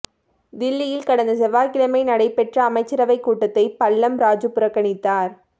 தில்லியில் கடந்த செவ்வாய்க்கிழமை நடைபெற்ற அமைச்சரவைக் கூட்டத்தை பல்லம் ராஜு புறக்கணித்தார்